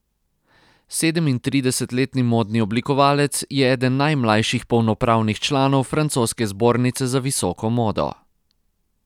Sedemintridesetletni modni oblikovalec je eden najmlajših polnopravnih članov francoske zbornice za visoko modo.